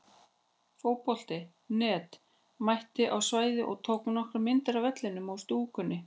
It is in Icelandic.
Fótbolti.net mætti á svæðið og tók nokkrar myndir af vellinum og stúkunni.